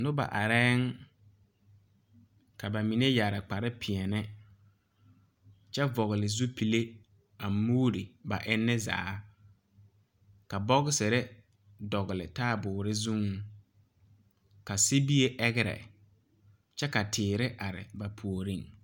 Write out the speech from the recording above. Nibɛ arɛɛŋ ka ba mine yɛre kpare pèɛɛne kyɛ vɔgle zupile a muuri ba eŋnen zaa ka bɔgsire dɔgle taaboore zuŋ ka sibie ɛgrɛ kyɛ ka teere are ba puoriŋ.